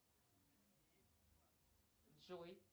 джой